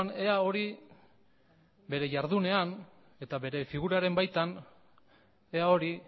ea hori bere jardunean eta bere figuraren baitan ea hori